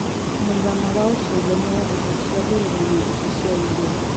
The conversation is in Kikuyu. mũigana wa ũcejanĩa wa mbeca cĩa ngeretha na mbeca cĩa India